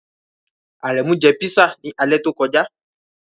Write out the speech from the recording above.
Aremu jẹ pisa ni alẹ to koja